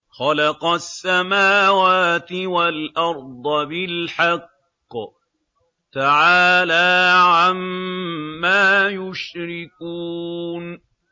خَلَقَ السَّمَاوَاتِ وَالْأَرْضَ بِالْحَقِّ ۚ تَعَالَىٰ عَمَّا يُشْرِكُونَ